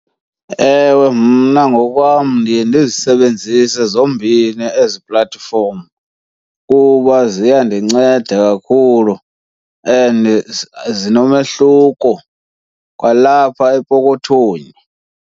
Ewe, mna ngokwam ndiye ndizisebenzise zombini ezi platform kuba ziyandinceda kakhulu and zinomehluko kwalapha epokothweni.